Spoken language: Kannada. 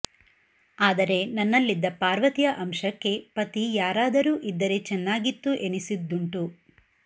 ಆದರೆ ನನ್ನಲ್ಲಿದ್ದ ಪಾರ್ವತಿಯ ಅಂಶಕ್ಕೆ ಪತಿ ಯಾರಾದರೂ ಇದ್ದರೆ ಚೆನ್ನಾಗಿತ್ತು ಎನ್ನಿಸಿದ್ದುಂಟು